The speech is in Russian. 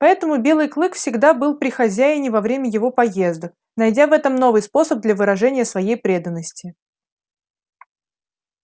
поэтому белый клык всегда был при хозяине во время его поездок найдя в этом новый способ для выражения своей преданности